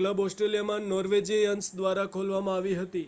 club ઓસ્ટ્રેલિયામાં Norwegians દ્વારા ખોલવામાં આવી હતી